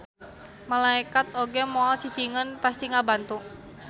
Malaekat oge moal cicingeun pasti ngabantu.